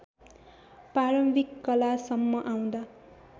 प्रारम्भिक कालसम्म आउँदा